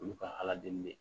Olu ka ala deli de